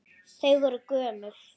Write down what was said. Þau voru gömul.